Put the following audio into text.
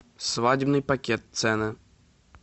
свадебный пакет цены